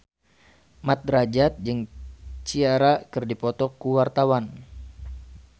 Mat Drajat jeung Ciara keur dipoto ku wartawan